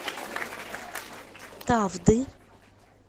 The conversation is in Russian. тавды